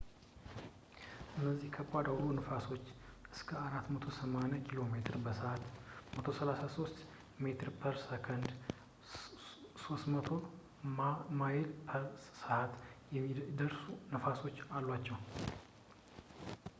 እነዚህ ከባድ አውሎ ነፋሶች እስከ 480 ኪ.ሜ/በሰዓት 133 ሜ/በሰከንድ ፤ 300 ማ/በሰዓት የሚደርሱ ነፋሶች አሏቸው